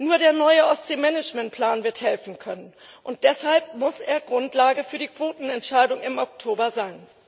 Nur der neue Ostseemanagementplan wird helfen können, und deshalb muss er Grundlage für die Quotenentscheidung im Oktober sein.